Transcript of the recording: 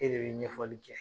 E de be ɲɛfɔli kɛ.